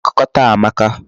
Akụkọ taa amaka.